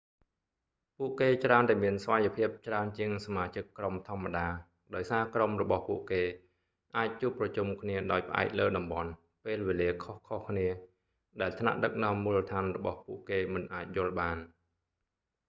ពួកគេច្រើនតែមានស្វ័យភាពច្រើនជាងសមាជិកក្រុមធម្មតាដោយសារក្រុមរបស់ពួកគេ អាចជួបប្រជុំគ្នាដោយផ្អែកលើតំបន់ ពេលវេលាខុសៗគ្នា ដែលថ្នាក់ដឹកនាំមូលដ្ឋានរបស់ពួកគេមិនអាចយល់បាន